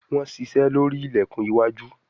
Wón ṣiṣe lórí ilẹkùn iwájú.